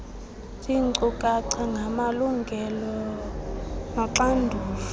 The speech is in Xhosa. ziinkcukacha ngamalungelo noxanduva